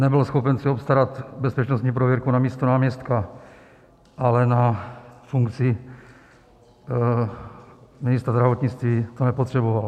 Nebyl schopen si obstarat bezpečnostní prověrku na místo náměstka, ale na funkci ministra zdravotnictví to nepotřeboval.